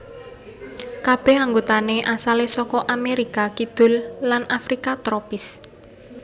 Kabèh anggotané asalé saka Amérika Kidul lan Afrika tropis